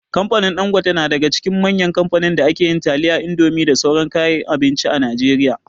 Kamfanin Ɗangote na daga cikin manyan kamfanin da ke yin taliya, indomie da sauran kayan abinci a Najeriya.